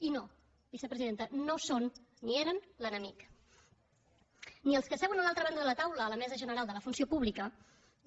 i no vicepresidenta no són ni eren l’enemic ni els que seuen a l’altra banda de la taula a la mesa general de la funció pública